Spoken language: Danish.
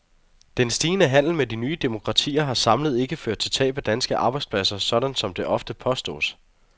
Den stigende handel med de nye demokratier har samlet ikke ført til tab af danske arbejdspladser, sådan som det ofte påstås.